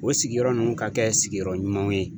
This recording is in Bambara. O sigiyɔrɔ ninnu ka kɛ sigiyɔrɔ ɲumanw ye.